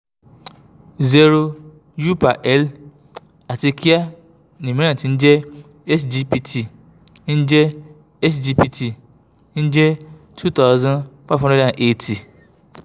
zero u/l àti kíá ni míràn ti ń jẹ́ sgpt ń jẹ́ sgpt ń jẹ́ two thousand five hundred eighty